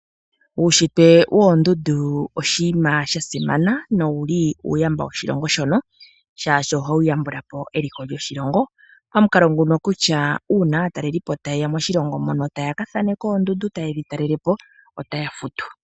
Uunshitwe woondundu oshinima sha simana nowu li uuyamba woshilongo shono, shaashi ohawu yambula po eliko lyoshilongo. Pamukalo nguno kutya uuna aatalelipo taye ya moshilongo mono taya ka thaaneka oondundu taye dhi talele po otaya futu.